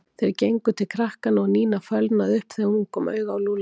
Þeir gengu til krakkanna og Nína fölnaði upp þegar hún kom auga á Lúlla.